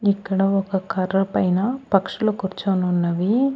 ఇక్కడ ఒక కర్ర పైన పక్షులు కూర్చోనున్నవి.